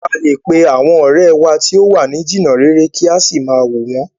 A lè pe àwọn ọ̀rẹ́ wa tí o wa ni jìnà réré kí a sì máa wò wọ̀n ọ́n.